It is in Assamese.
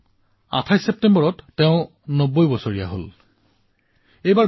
তেওঁ এই ২৮ ছেপ্টেম্বৰত ৯০ বছৰত ভৰি দিছে